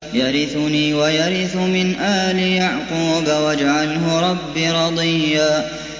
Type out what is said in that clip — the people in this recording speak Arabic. يَرِثُنِي وَيَرِثُ مِنْ آلِ يَعْقُوبَ ۖ وَاجْعَلْهُ رَبِّ رَضِيًّا